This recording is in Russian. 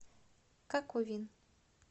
каковин